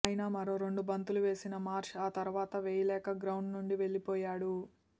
అయినా మరో రెండు బంతులు వేసిన మార్ష్ ఆ తర్వాత వేయలేక గ్రౌండ్ నుంచి వెల్లిపోయాడు